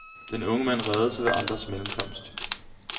Den unge mand reddede sig ved andres mellemkomst.